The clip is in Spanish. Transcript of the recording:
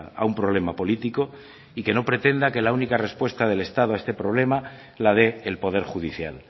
a un problema político y que no pretenda que la única respuesta del estado a este problema la dé el poder judicial